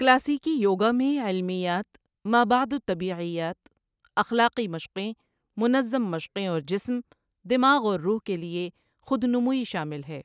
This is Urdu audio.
کلاسیکی یوگا میں علمیات، مابعد الطبیعیات، اخلاقی مشقیں، منظم مشقیں اور جسم، دماغ اور روح کے لیے خود نموئی شامل ہے۔